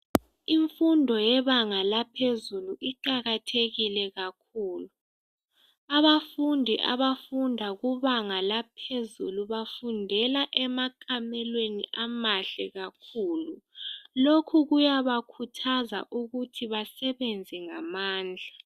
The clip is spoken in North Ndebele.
Imfundo yebanga laphezulu iqakathekile kakhulu. Abafundi abafunda kubanga laphezulu bafundela emakamelweni amahle kakhulu. Lokhu kuyabakhuthaza ukuthi basebenze ngamandla.